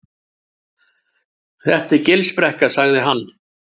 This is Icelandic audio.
Þetta er Gilsbrekka sagði hann.